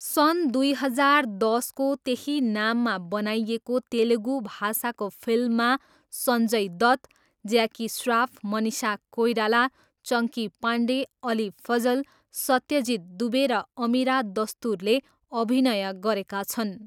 सन् दुई हजार दसको त्यही नाममा बनाइएको तेलुगु भाषाको फिल्ममा सञ्जय दत्त, ज्याकी स्राफ, मनिषा कोइराला, चङ्की पाण्डे, अली फजल, सत्यजीत दुबे र अमिरा दस्तुरले अभिनय गरेका छन्।